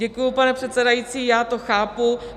Děkuji, pane předsedající, já to chápu.